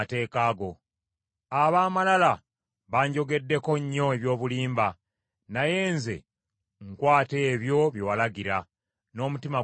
Ab’amalala banjogeddeko nnyo eby’obulimba, naye nze nkwata ebyo bye walagira, n’omutima gwange gwonna.